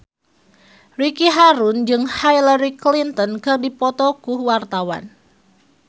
Ricky Harun jeung Hillary Clinton keur dipoto ku wartawan